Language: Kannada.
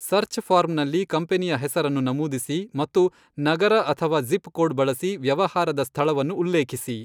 ಸರ್ಚ್ ಫಾರ್ಮ್ನಲ್ಲಿ ಕಂಪನಿಯ ಹೆಸರನ್ನು ನಮೂದಿಸಿ ಮತ್ತು ನಗರ ಅಥವಾ ಝಿಪ್ ಕೊಡ್ ಬಳಸಿ ವ್ಯವಹಾರದ ಸ್ಥಳವನ್ನು ಉಲ್ಲೇಖಿಸಿ.